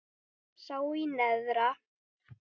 sá í neðra